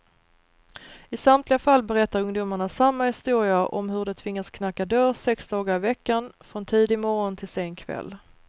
I samtliga fall berättar ungdomarna samma historia om hur de tvingats knacka dörr sex dagar i veckan, från tidig morgon till sen kväll.